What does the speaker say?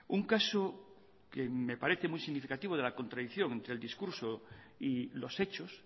un caso que me parece muy significativo de la contradicción del discurso y los hechos